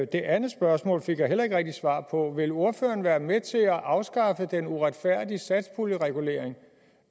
det andet spørgsmål fik jeg heller ikke rigtig svar på vil ordføreren være med til at afskaffe den uretfærdige satspuljeregulering